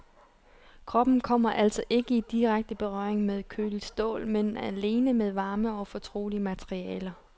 Kroppen kommer altså ikke i direkte berøring med køligt stål, men alene med varme og fortrolige materialer.